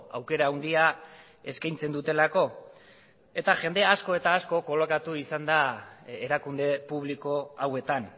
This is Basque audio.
aukera handia eskaintzen dutelako eta jende asko eta asko kolokatu izan da erakunde publiko hauetan